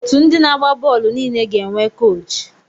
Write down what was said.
Otu ndị na-agba bọọlụ niile ga-enwe koochi.